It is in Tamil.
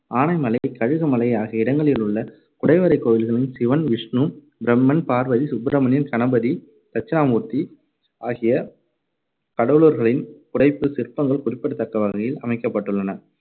ஆனைமலை, கழுகுமலை, ஆகிய இடங்களிலுள்ள குடைவரைக் கோவில்களில் சிவன், விஷ்ணு, பிரம்மன், பார்வதி, சுப்பிரமணியன், கணபதி, தட்சிணாமூர்த்தி ஆகிய கடவுளர்களின் புடைப்புச் சிற்பங்கள் குறிப்பிடத்தக்க வகையில் அமைக்கப்பட்டுள்ளன.